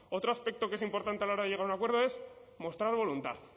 otro aspecto que es importante a la hora de llegar a un acuerdo es mostrar voluntad